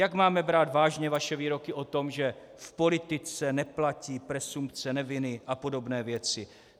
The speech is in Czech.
Jak máme brát vážně vaše výroky o tom, že v politice neplatí presumpce neviny a podobné věci?